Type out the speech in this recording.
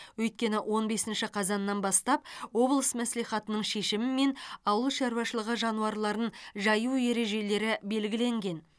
өйткені он бесінші қазаннан бастап облыс мәслихатының шешімімен ауыл шаруашылығы жануарларын жаю ережелері белгілеген